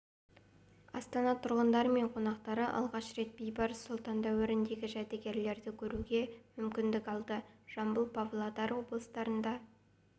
астана тұрғындары мен қонақтары алғаш рет бейбарыс сұлтан дәуіріндегі жәдігерлерді көруге мүмкіндік алды жамбыл павлодар облыстарында